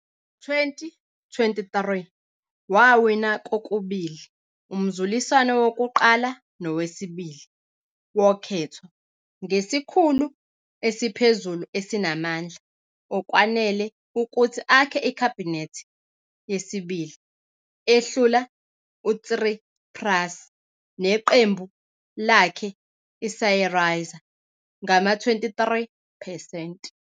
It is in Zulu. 2023 wawina kokubili umzuliswano wokuqala nowesibili wokhetho ngesikhulu esiphezulu esinamandla okwanele ukuthi akhe ikhabhinethi yesibili, ehlula uTsipras neqembu lakhe iSYRIZA ngama-23 percent.